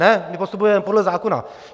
Ne, my postupujeme podle zákona.